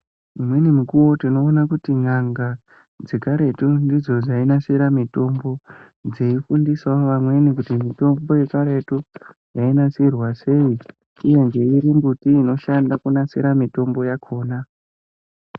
Imweni mikuwo tinoona kuti n'anga, dzekaretu ndidzo dzainasira mitombo, dzeifundisawo vamweni kuti mitombo yekaretu ,yainasirwa sei, uye ngeiri mbuti inoshanda kunasira mitombo yakhona.